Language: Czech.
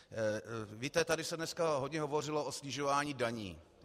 Víte, tady se dneska hodně hovořilo o snižování daní.